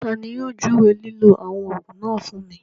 Tani yóò júwé lílọ̀ awọn oogun náà fún mi?